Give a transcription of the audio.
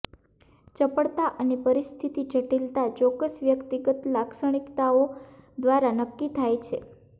ચપળતા અને પરિસ્થિતિ જટિલતા ચોક્કસ વ્યક્તિગત લાક્ષણિકતાઓ દ્વારા નક્કી થાય છે